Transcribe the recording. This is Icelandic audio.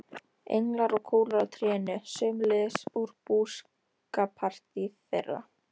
Englar og kúlur á trénu, sömuleiðis úr búskapartíð þeirra.